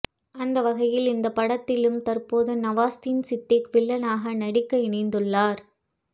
அந்த வகையில் இந்த படத்திலும் தற்போது நவாஸ்தீன் சித்திக் வில்லனாக நடிக்க இணைந்துள்ளார்